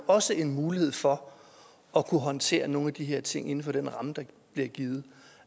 også en mulighed for at kunne håndtere nogle af de her ting inden for den ramme der bliver givet